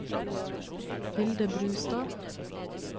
Hilde Brustad